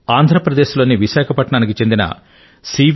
ఆంధ్ర ప్రదేశ్ లోని విశాఖపట్నానికి చెందిన శ్రీమాన్ సి